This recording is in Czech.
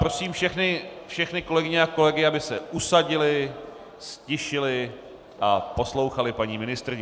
Prosím všechny kolegyně a kolegy, aby se usadili, ztišili a poslouchali paní ministryni.